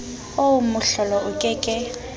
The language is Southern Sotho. oo mohlolo o ke ke